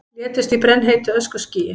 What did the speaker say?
Létust í brennheitu öskuskýi